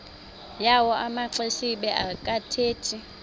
yawo amaxesibe akathethi